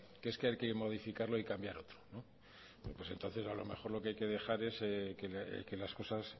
que es que hay que modificarlo y cambiar otro bueno pues entonces a lo mejor lo que hay que dejar es que las cosas